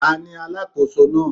Ta ni alákòóso náà?